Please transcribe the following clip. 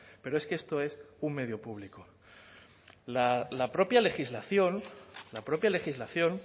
pero es que esto es un medio público la propia legislación la propia legislación